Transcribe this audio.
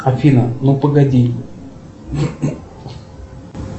афина ну погоди